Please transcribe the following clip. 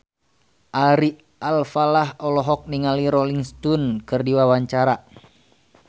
Ari Alfalah olohok ningali Rolling Stone keur diwawancara